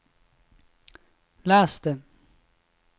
les det